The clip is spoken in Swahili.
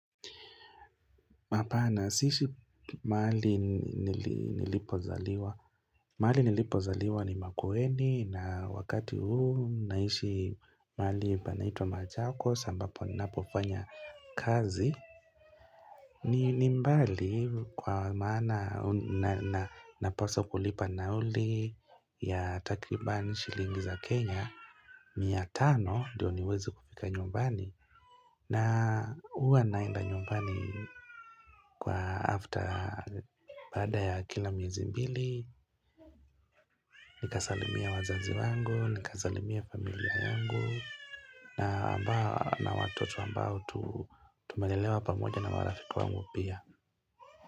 Hapana siishi mahali nilipozaliwa. Mahali nilipozaliwa ni makueni na wakati huu naishi mahali panaitwa machakos ambapo ninapofanya kazi. Ni mbali kwa maana napaswa kulipa nauli ya takriban shilingi za Kenya. Mia tano ndio niweze kufika nyumbani na huwa naenda nyumbani kwa after baada ya kila miezi mbili Nikasalimia wazazi wangu, nikasalimia familia yangu na ambao na watoto ambao tumelelewa pamoja na marafiki wangu pia.